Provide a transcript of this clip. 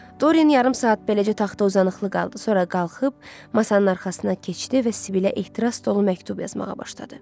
Doryan yarım saat beləcə taxta uzanıqlı qaldı, sonra qalxıb masanın arxasına keçdi və Sibilə ehtiras dolu məktub yazmağa başladı.